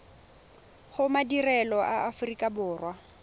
go madirelo a aforika borwa